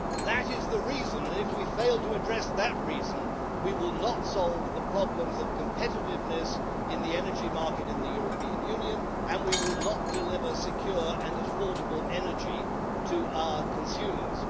That is the reason, and if we fail to address that reason, we will not solve the problems of competitiveness in the energy market in the European Union, and we will not deliver secure and affordable energy to our consumers.